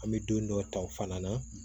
An bɛ don dɔ ta o fana na